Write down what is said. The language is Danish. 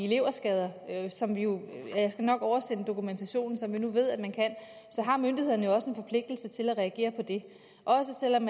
leverskader og jeg skal nok oversende en dokumentation som vi nu ved at man kan har myndighederne også en forpligtelse til at reagere på det også selv om